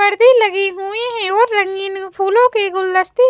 पर्दे लगे हुए हैं और रंगीन फूलों के गुलदस्ते--